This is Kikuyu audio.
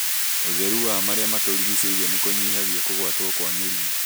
ũtheru wa marĩa matũrigicĩirie nĩkũnyihagia kũgwatio kwa mĩrimũ